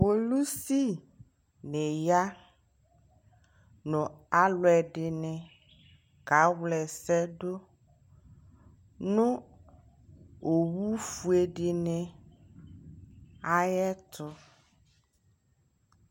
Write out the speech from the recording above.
polisi ni ya nʋ alʋ ɛdini ka wlɛsɛ dʋ nʋ ɔwʋ ƒʋɛ dini ayɛtʋ